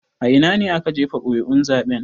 A ina ne aka jefa ƙuri'un zaben?